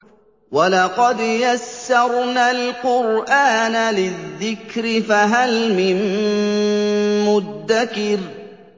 وَلَقَدْ يَسَّرْنَا الْقُرْآنَ لِلذِّكْرِ فَهَلْ مِن مُّدَّكِرٍ